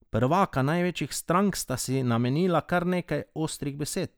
Prvaka največjih strank sta si namenila kar nekaj ostrih besed.